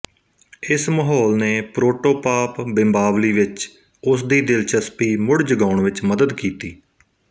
ਇਸ ਮਾਹੌਲ ਨੇ ਪ੍ਰੋਟੋਪਾਪ ਬਿੰਬਾਵਲੀ ਵਿੱਚ ਉਸ ਦੀ ਦਿਲਚਸਪੀ ਮੁੜ ਜਗਾਉਣ ਵਿੱਚ ਮੱਦਦ ਕੀਤੀ